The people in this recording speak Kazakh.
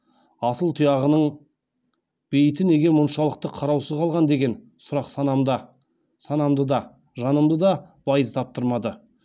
асыл тұяғының бейіті неге мұншалықты қараусыз қалған деген сұрақ санамды да жанымды да байыз таптырмады